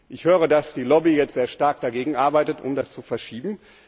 Ich höre, dass die Lobby jetzt sehr stark dagegen arbeitet, um das zu verschieben.